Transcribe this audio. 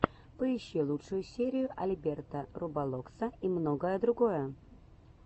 поищи лучшую серию альберта роболокса и многое другое